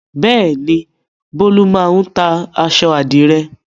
Bẹ́ẹ̀ ni, Bólú máa ń ta aṣọ àdìrẹ́.